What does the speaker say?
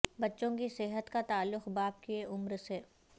بچوں کی صحت کا تعلق باپ کی عمر سے